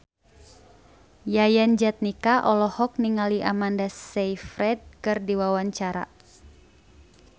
Yayan Jatnika olohok ningali Amanda Sayfried keur diwawancara